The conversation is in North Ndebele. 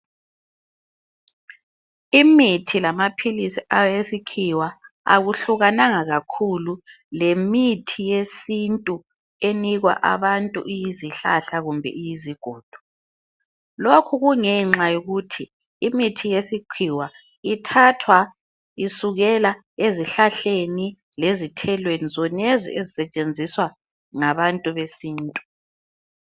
Imithi lamaphilisi awesikhiwa akuhlukananga kakhulu lemithi yesintu enikwa abantu iyizihlahla kumbe iyizigodo. Lokhu kungenxa yokuthi imithi yesikhiwa ithathwa isukela ezihlahleni lezithelweni zonezi ezisetshenziswa ngabantu besintu.